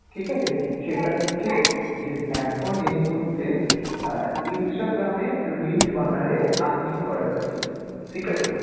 ঠিক আছে, সেটা হচ্ছে যে এখন এই মুহূর্তে আহ Instagram এ reels বানালে earning করা যাচ্ছে ঠিক আছে।